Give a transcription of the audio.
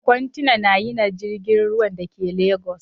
kontena na yina jirgin ruwa Dake legas